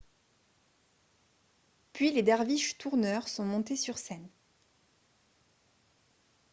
puis les derviches tourneurs sont montés sur scène